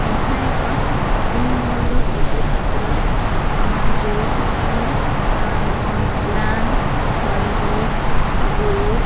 ଏହା ଏକ shopping mall ର ଫଟୋ ଚିତ୍ର ଆଁ ଯୋଉଠି କି ଆଁ କଂପ୍ଲାନ୍ ହର୍ଲିକ୍ସ ବୁଷ୍ଟ --